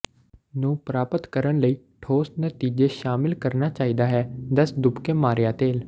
ਨੂੰ ਪ੍ਰਾਪਤ ਕਰਨ ਲਈ ਠੋਸ ਨਤੀਜੇ ਸ਼ਾਮਿਲ ਕਰਨਾ ਚਾਹੀਦਾ ਹੈ ਦਸ ਤੁਪਕੇ ਮਾਰਿਆ ਤੇਲ